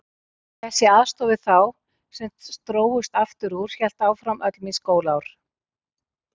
Þessi aðstoð við þá sem drógust aftur úr hélt áfram öll mín skólaár.